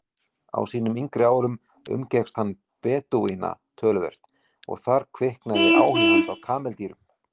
Á sínum yngri árum umgekkst hann Bedúína töluvert og þar kviknaði áhugi hans á kameldýrum.